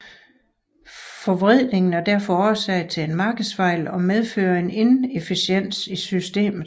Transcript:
Forvridningen er derfor årsag til en markedsfejl og medfører en inefficiens i systemet